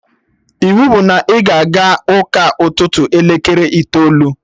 Iwu bụ na ị ga-aga ụka ụtụtụ elekere itoolu!